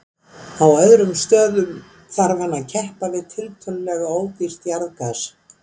Á öðrum stöðum þarf hann að keppa við tiltölulega ódýrt jarðgas.